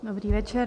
Dobrý večer.